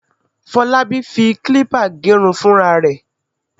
Fọlábí fi kílípà gẹrun fúnra rẹ̀.